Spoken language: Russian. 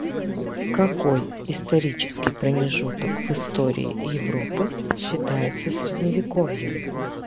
какой исторический промежуток в истории европы считается средневековьем